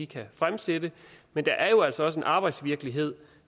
kan fremsætte men der er jo altså også en arbejdsvirkelighed